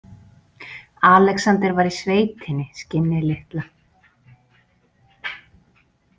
Alexander var í sveitinni, skinnið litla.